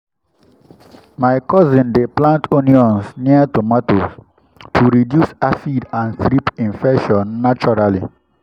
my cousin dey plant onions near tomatoes to reduce aphid and thrip infestation naturally.